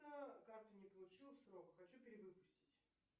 карту не получил в срок хочу перевыпустить